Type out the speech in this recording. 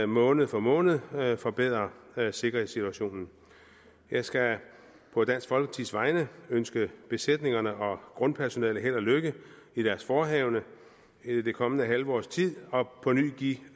måned for måned forbedrer sikkerhedssituationen jeg skal på dansk folkepartis vegne ønske besætningerne og grundpersonellet held og lykke i deres forehavende i det kommende halve års tid og på ny give